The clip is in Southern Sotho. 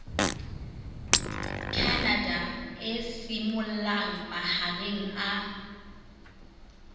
canada e simollang mahareng a